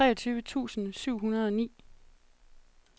treogtyve tusind syv hundrede og ni